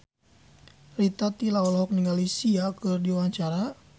Rita Tila olohok ningali Sia keur diwawancara